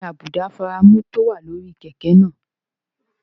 Kí ni àbùdá fírámù tó wà lórí kẹ̀kẹ́ náà?